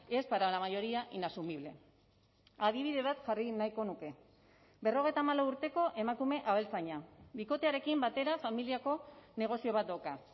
es para la mayoría inasumible adibide bat jarri nahiko nuke berrogeita hamalau urteko emakume abeltzaina bikotearekin batera familiako negozio bat dauka